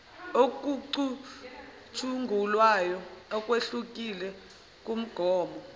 okucutshungulwayo okwehlukile kumgomo